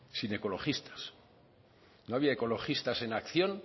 sin ecologistas no había ecologistas en acción